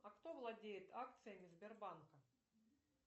а кто владеет акциями сбербанка